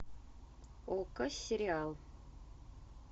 окко сериал